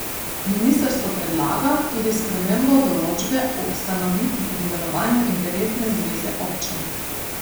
Ministrstvo predlaga tudi spremembo določbe o ustanovitvi in delovanju interesne zveze občin.